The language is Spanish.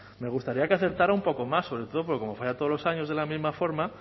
me gustaría que acertara un poco más sobre todo porque como falla todos los años de la misma forma